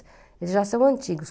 Eles já são antigos.